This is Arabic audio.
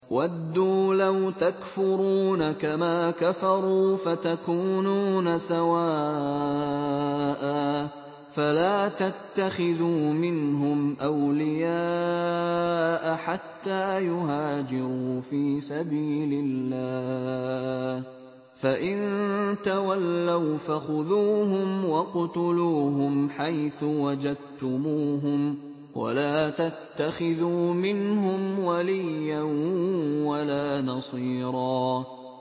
وَدُّوا لَوْ تَكْفُرُونَ كَمَا كَفَرُوا فَتَكُونُونَ سَوَاءً ۖ فَلَا تَتَّخِذُوا مِنْهُمْ أَوْلِيَاءَ حَتَّىٰ يُهَاجِرُوا فِي سَبِيلِ اللَّهِ ۚ فَإِن تَوَلَّوْا فَخُذُوهُمْ وَاقْتُلُوهُمْ حَيْثُ وَجَدتُّمُوهُمْ ۖ وَلَا تَتَّخِذُوا مِنْهُمْ وَلِيًّا وَلَا نَصِيرًا